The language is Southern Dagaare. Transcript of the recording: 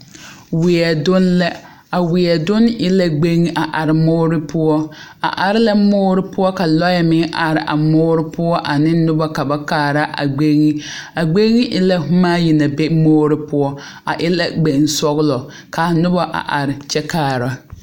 Wie dune la. A wie dune e la gbeŋ a are muore poʊ. A are la muore poʊ ka lɔe meŋ are a muore poʊ ane noba ka ba kaara a gbeŋ. A gbeŋ e la boma ayi na be muore poʊ. A e la gbeŋ sɔglɔ ka a noba a are kyɛ kaara